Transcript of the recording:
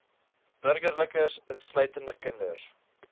burgerlikes insluitend kinders